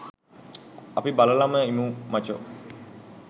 අපි බලලම ඉමු මචෝ